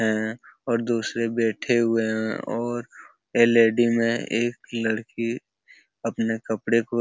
हैं और दूसरे बैठे हुए हैं और एलईडी में एक लड़की अपने कपड़े को --